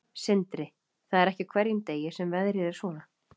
Sindri: Það er ekki á hverjum degi sem veðrið er svona?